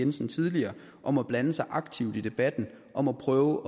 jensen tidligere om at blande sig aktivt i debatten om at prøve